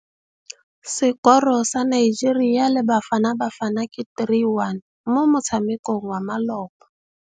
Sekôrô sa Nigeria le Bafanabafana ke 3-1 mo motshamekong wa malôba.